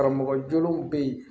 Karamɔgɔ jolenw be yen